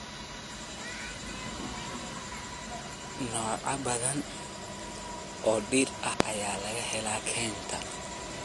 Noocyo badan oo dhir ah ayaa laga helaa kaynta.